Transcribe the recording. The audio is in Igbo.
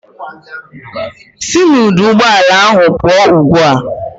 Sị n'ọdụụgbọala ahụ pụọ ugbu a!